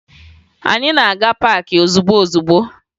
Anyị na-aga paakị ozugbo ozugbo